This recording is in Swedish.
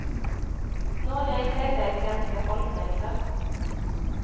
Några är klädda i svenska folkdräkter.